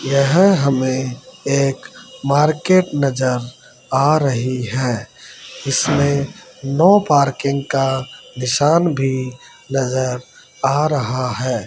यहां हमे एक मार्केट नजर आ रही है इसमे नो पार्किंग का निशान भी नजर आ रहा है।